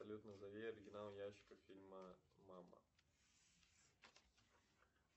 салют назови оригинал ящика фильма мама